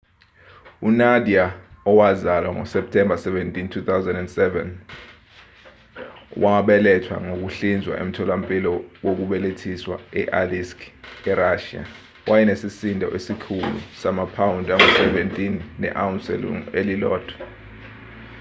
unadia owazalwa ngoseptemba 17 2007 owabelethwa ngokuhlinzwa emtholampilo wokubelethisa e-aleisk erashiya wayenesisindo esikhulu samaphawundi angu-17 ne-awunsi elungu-1